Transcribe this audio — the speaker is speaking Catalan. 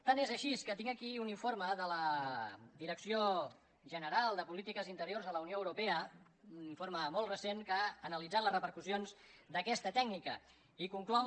tant és així que tinc aquí un informe de la direcció general de política interior de la unió europea un informe molt recent que ha analitzat les repercussions d’aquesta tècnica i conclou